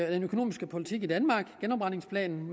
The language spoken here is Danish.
økonomiske politik i danmark genopretningsplanen